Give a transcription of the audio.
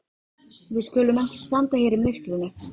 Við skulum ekki standa hér í myrkrinu.